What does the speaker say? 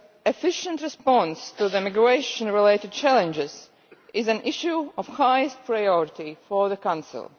Efficient response to the migration related challenges is an issue of highest priority for the Council.